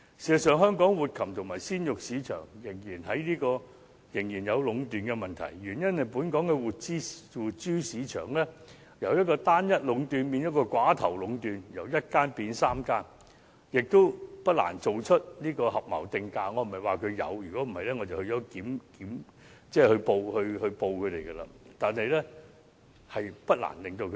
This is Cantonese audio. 事實上，香港的活禽和鮮肉市場仍然存在壟斷的問題，原因是本港的活豬市場由單一壟斷變成寡頭壟斷，即由1間變3間，不難進行合謀定價，我並非說現時有這樣的情況，否則我會向有關部門舉報。